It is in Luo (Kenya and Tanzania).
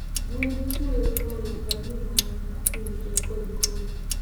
Gwen chwoyo lowo ka gimanyo kute kod kodhi.